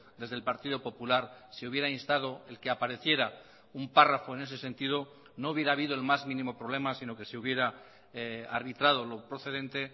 desde el partido popular se hubiera instado el que apareciera un párrafo en ese sentido no hubiera habido el más mínimo problema sino que se hubiera arbitrado lo procedente